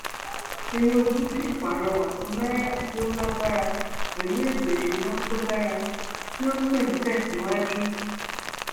tinubu sì pàrọwà fún náírà tí ó lágbára pẹlú ètò ìsúná tó dára tí ó sì ń tẹ síwájú